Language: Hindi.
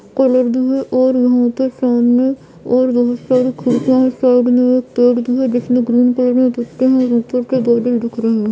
और यहां पे सामने और बहुत सारी खिड़कियां है साइड में एक पेड़ भी है जिसमें ग्रीन कलर में पत्तियां है और ऊपर के बादल दिख रहे हैं।